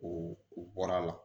O u bɔra la